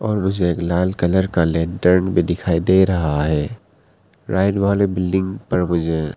और मुझे एक लाल कलर का लैंटरन भी दिखाई दे रहा है राइट वाले बिल्डिंग पर मुझे--